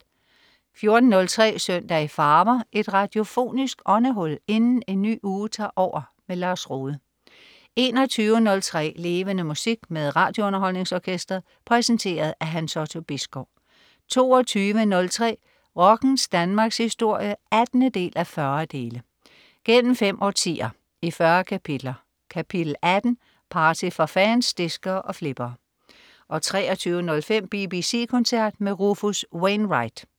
14.03 Søndag i farver. Et radiofonisk åndehul inden en ny uge tager over. Lars Rohde 21.03 Levende Musik. Med RadioUnderholdningsOrkestret. Præsenteret af Hans Otto Bisgaard 22.03 Rockens Danmarkshistorie 18:40. Gennem fem årtier, i 40 kapitler. Kapitel 18: Party for fans, diskere og flippere 23.05 BBC koncert med Rufus Wainwright